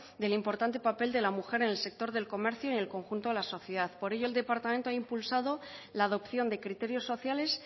del importante papel de la mujer en el sector del comercio y en el conjunto de la sociedad por ello el departamento ha impulsado la adopción de criterios sociales